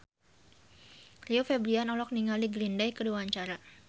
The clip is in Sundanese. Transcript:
Rio Febrian olohok ningali Green Day keur diwawancara